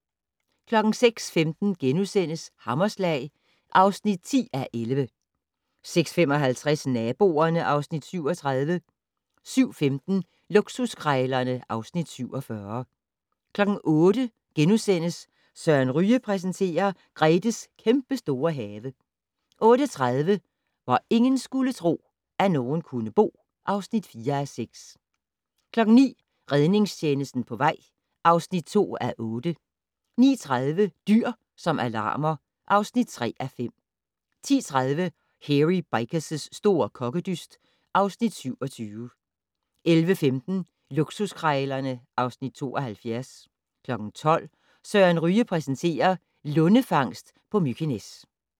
06:15: Hammerslag (10:11)* 06:55: Naboerne (Afs. 37) 07:15: Luksuskrejlerne (Afs. 47) 08:00: Søren Ryge præsenterer: Gretes kæmpestore have * 08:30: Hvor ingen skulle tro, at nogen kunne bo (4:6) 09:00: Redningstjenesten på vej (2:8) 09:30: Dyr som alarmer (3:5) 10:30: Hairy Bikers' store kokkedyst (Afs. 27) 11:15: Luksuskrejlerne (Afs. 72) 12:00: Søren Ryge præsenterer: Lundefangst på Mykines